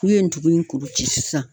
K'u ye ntugun kuru ci sisan.